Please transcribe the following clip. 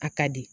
A ka di